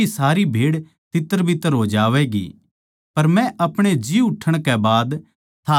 पर मै आपणे जी उठण कै बाद थारै तै पैहल्या गलील परदेस म्ह मिलूगाँ